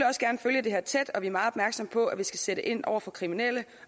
også gerne følge det her tæt og vi er meget opmærksomme på at vi skal sætte ind over for kriminelle